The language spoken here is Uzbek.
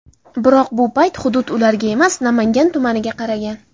Biroq bu payt hudud ularga emas, Namangan tumaniga qaragan.